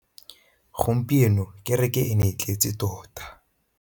Gompieno kêrêkê e ne e tletse tota.